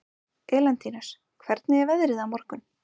Elentínus, hvernig er veðrið á morgun?